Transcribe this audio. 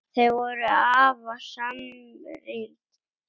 Þau voru afar samrýnd hjón.